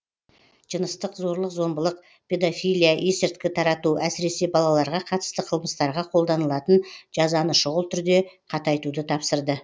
жыныстық зорлық зомбылық педофилия есірткі тарату әсіресе балаларға қатысты қылмыстарға қолданылатын жазаны шұғыл түрде қатайтуды тапсырды